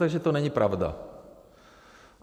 Takže to není pravda.